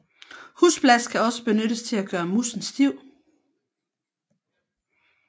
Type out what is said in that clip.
Husblas kan også benyttes til at gøre moussen stiv